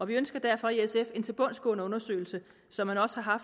vi ønsker derfor i sf en tilbundsgående undersøgelse som man også har